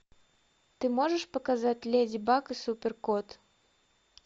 ты можешь показать леди баг и супер кот